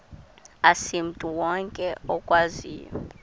asimntu wonke okwaziyo